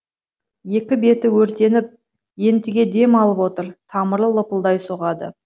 екі беті өртеніп ентіге дем алып отыр тамыры лыпылдай соғады